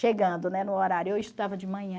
Chegando, né, no horário, eu estudava de manhã,